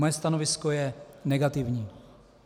Moje stanovisko je negativní.